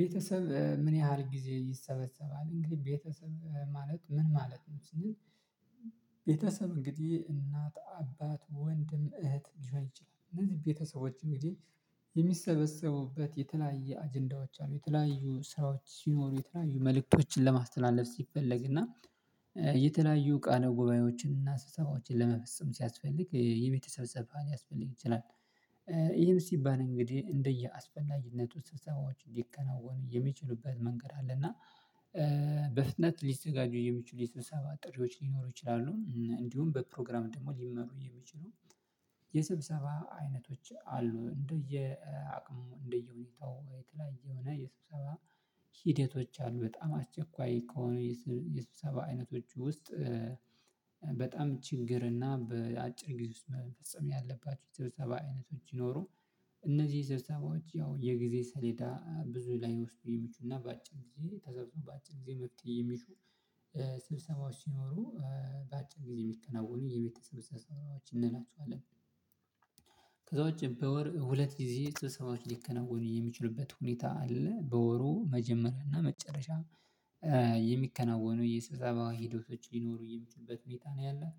ቤተሰብ ምን ያህል ጊዜ ይሰበሰባል። እንግዲህ ቤተሰብ ማለት ምን ማለት ነው ስንል እንግዲህ እናት፣ አባት፣ ወንድም፣ እህት ሊሆን ይችላል። እነዚህ ቤተሰቦች እንግዲህ የሚሰበሰቡበት የተለያየ አጀንዳዎች አሉ። የተለያዩ ስራዎች ሲኖሩ የተለያዩ መልእክቶችን ለማስተላለፍ ሲፈለግ እና የተለያዩ ቃለ ጉባኤዎችን እና አስተሳቦችን ለመፈጸም ሲያስፈልግ የቤተሰብ ስብሰባ ሊያስፈልግ ይችላል። ይህም ሲባል እንግዲህ እንደየአስፈላጊነቱ ስብሰባዎች እንዲከናወኑ የሚችሉበት መንገድ አለ። እና በፍጥነት ሊዘጋጁ የሚችሉ የስብሰባ ጥሪዎች ሊኖሩ ይችላሉ። እንዲሁም በፕሮግራም ደግሞ ሊመሩ የሚችሉ። የስብሰባ አይነቶች አሉ እንደየ አቅሙ እንደየሁኔታው ወይ የተለያየ የስብሰባ ሂደቶች አሉ። በጣም አስቸኳይ ከሆኑ የስብሰባ አይነቶች ውስጥ በጣም ችግር እና በአጭር ጊዜ ውስጥ መፈጸም ያለባቸው የሰብሰባ አይነቶች ሲኖሩ እነዚህ ስብሰባዎች ያው የጊዜ ሰሌዳ ብዙ ላይወስዱ የሚችሉ እና በአጭር ጊዜ ተሰርቶ በአጭር ጊዜ መፍትሄ የሚሹ ስብሰማዎች ሲኖሩ በአጭር ጊዜ የሚከናወኑ የቤተሰብ ሰብሰባዎች እንላቸውአለን። ከዛ ውጭ በወር ሁለት ጊዜ ስብሰባዎች ሊከናወኑ የሚችሉበት ሁኔታ አለ። በወሩ መጀመሪያና መጨረሻ የሚከናወኑ የስብሰባ ሂደቶች ሊኖሩ የሚችሉበት ሁኔታ ነው ያለው።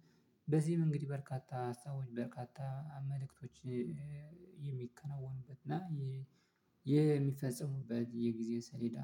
በዚህም እንግዲህ በርካታ ሀሳቦች በርካታ መልእክቶች የሚከናወኑበት እና የሚፈጸሙበት የጊዜ ሰሌዳ